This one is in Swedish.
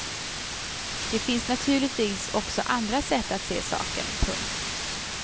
Det finns naturligtvis också andra sätt att se saken. punkt